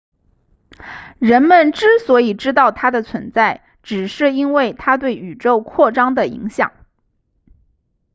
人们之所以知道它的存在只是因为它对宇宙扩张的影响